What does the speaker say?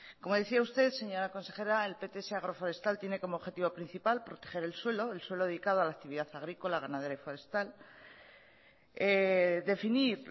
como decía usted señora consejera el pts agroforestal tiene como objetivo principal proteger el suelo el suelo dedicado a la actividad agrícola ganadera y forestal definir